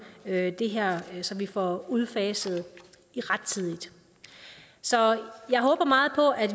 det her så vi får udfaset rettidigt så jeg håber meget på at